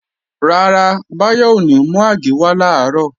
Rárá, Báyọ̀ ò ní mú àgé wá làárọ̀